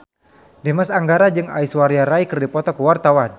Dimas Anggara jeung Aishwarya Rai keur dipoto ku wartawan